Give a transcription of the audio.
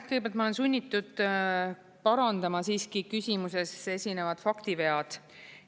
Kõigepealt, ma olen sunnitud parandama siiski küsimuses esinevad faktivead.